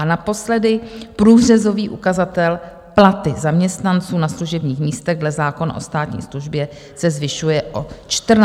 A naposledy průřezový ukazatel Platy zaměstnanců na služebních místech dle zákona o státní službě se zvyšuje o 14 727 540 korun.